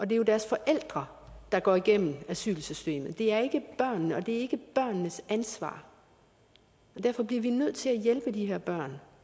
det er jo deres forældre der går igennem asylsystemet det er ikke børnene og det er ikke børnenes ansvar og derfor bliver vi nødt til at hjælpe de her børn